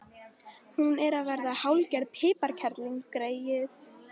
Hún er að verða hálfgerð piparkerling, greyið.